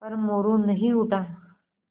पर मोरू नहीं उठा